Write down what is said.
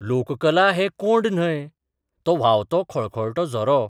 लोककला हें कोंड न्हय, तो व्हांवतो खळखळटो झरो.